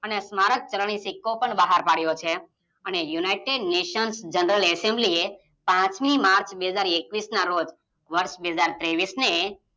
અને સ્મારક ચરની સિક્કો પણ બહાર પડ્યો છે અને યુનિટેડ નેશન જનરલ એસેમ્બલી એ પાંચમી માર્ચ બે હાજર એકવીસ ના રોજ વર્ષ બે હાજર ત્રેવીસને